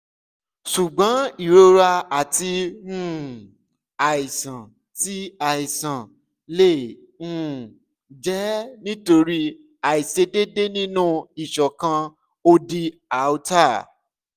ṣugbọn irora ti um aisan ti aisan le um jẹ nitori aiṣedede ninu iṣọkan odi aorta